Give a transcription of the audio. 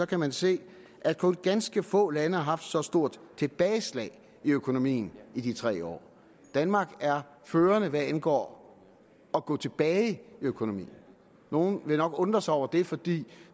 kan man se at kun ganske få lande har haft så stort et tilbageslag i økonomien i de tre år danmark er førende hvad angår at gå tilbage i økonomien og nogle vil nok undre sig over det fordi